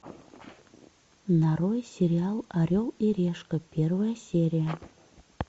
нарой сериал орел и решка первая серия